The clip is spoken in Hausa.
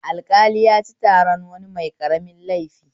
Alƙali yaci taran wani mai ƙaramin laifi